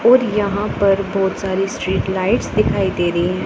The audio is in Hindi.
और यहां पर बहुत सारी स्ट्रीट लाइट्स दिखाई दे रही है।